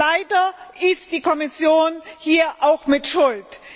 Leider ist die Kommission hier auch mit schuld.